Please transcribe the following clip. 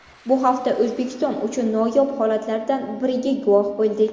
Bu hafta O‘zbekiston uchun noyob holatlardan biriga guvoh bo‘ldik.